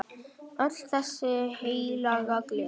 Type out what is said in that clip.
Öll þessi heilaga gleði!